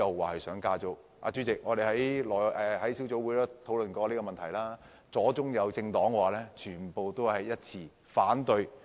代理主席，我們在小組委員會討論這個問題時，無論左中右政黨均一致反對。